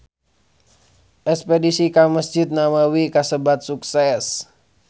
Espedisi ka Mesjid Nabawi kasebat sukses